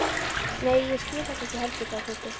Nei, ég skil þetta ekki heldur sagði Tóti.